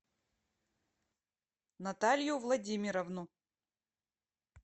наталью владимировну